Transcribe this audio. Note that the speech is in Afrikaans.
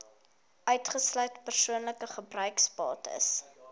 uitgesluit persoonlike gebruiksbates